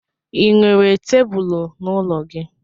Ị nwere tebulu n'ụlọ gị?